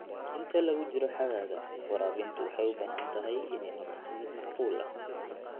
Inta lagu jiro xagaaga, waraabintu waxay u baahan tahay inay noqoto mid macquul ah.